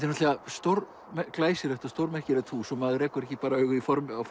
náttúrulega stór glæsilegt og stórmerkilegt hús og maður rekur ekki bara augun í formin á